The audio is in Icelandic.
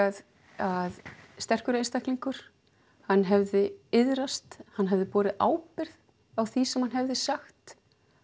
að sterkur einstaklingur hann hefði iðrast hann hefði borið ábyrgð á því sem hann hefði sagt